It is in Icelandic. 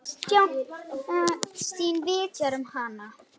Og Kristín vitjar um hana.